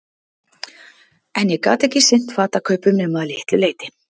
En ég get ekki sinnt fatakaupum nema að litlu leyti.